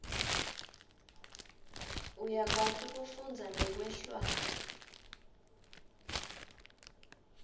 uyakwati kufundza nekwehlwaya